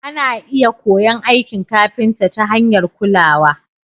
ana iya koyon aikin kafinta ta hanyar kulawa.